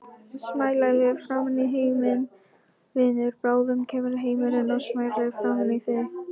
Smælaðu framan í heiminn, vinur, bráðum kemur heimurinn og smælar framan í þig.